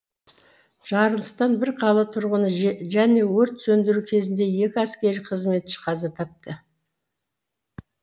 жарылыстан бір қала тұрғыны және өрт сөндіру кезінде екі әскери қызметші қаза тапты